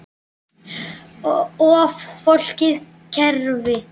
Of flókið kerfi?